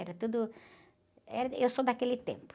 Era tudo... Era, e eu sou daquele tempo.